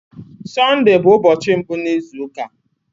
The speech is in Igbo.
Sọnde bụ ụbọchị mbụ n'izu ụka.